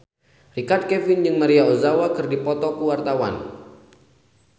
Richard Kevin jeung Maria Ozawa keur dipoto ku wartawan